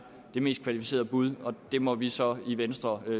det mest kvalificerede bud og det må vi så i venstre